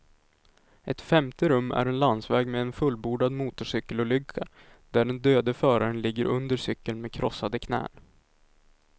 Ett femte rum är en landsväg med en fullbordad motorcykelolycka, där den döde föraren ligger under cykeln med krossade knän.